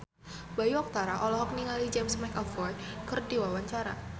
Bayu Octara olohok ningali James McAvoy keur diwawancara